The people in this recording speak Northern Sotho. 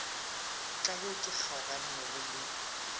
ka yo ke kgaoganego le